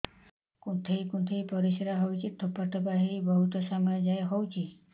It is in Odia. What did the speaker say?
କୁନ୍ଥେଇ କୁନ୍ଥେଇ ପରିଶ୍ରା ହଉଛି ଠୋପା ଠୋପା ହେଇ ବହୁତ ସମୟ ଯାଏ ହଉଛି